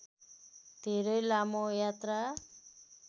धेरै लामो यात्रा